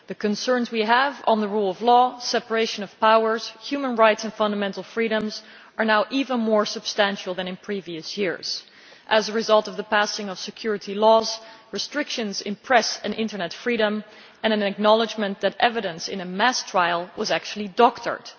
The concerns we have on the rule of law, separation of powers, human rights and fundamental freedoms are now even more substantial than in previous years as a result of the passing of security laws, restrictions on press and internet freedom, and an acknowledgment that evidence in a mass trial was actually doctored.